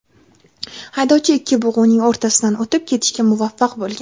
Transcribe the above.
Haydovchi ikki bug‘uning o‘rtasidan o‘tib ketishga muvaffaq bo‘lgan.